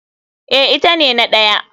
Eh ita ne na ɗaya.